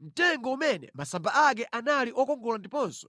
mtengo umene masamba ake anali okongola ndiponso